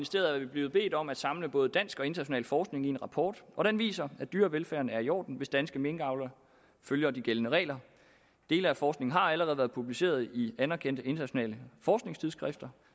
blevet bedt om at samle både dansk og international forskning i en rapport og den viser at dyrevelfærden er i orden hvis danske minkavlere følger de gældende regler dele af forskningen har allerede været publiceret i anerkendte internationale forskningstidsskrifter